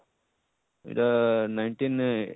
ଇଟା nineteen